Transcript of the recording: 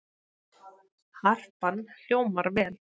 Harpan hljómar vel